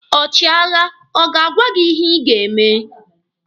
Ọchịagha ọ ga-agwa gị ihe ị ga-eme?